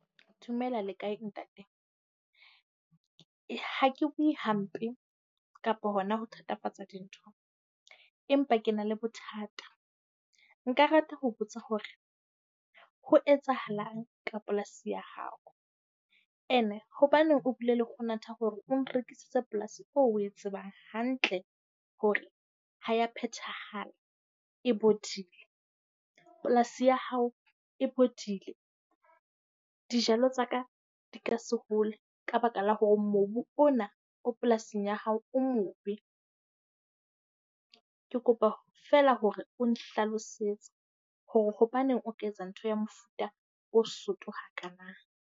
Dumela, le kae ntate? Ha ke buwe hampe kapa hona ho thatafatsa dintho empa ke na le bothata. Nka rata ho botsa hore ho etsahalang ka polasi ya hao? Ene hobaneng o bile le kgonatha hore o nrekisitse polasi eo oe tsebang hantle hore ha e a phethahala, e bodile. Polasi ya hao e bodile. Dijalo tsa ka di ka se hole ka baka la hore mobu ona o polasing ya hao o mobe. Ke kopa feela hore o nhlalosetse hore hobaneng o ka etsa ntho ya mofuta o soto hakaana?